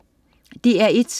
DR1: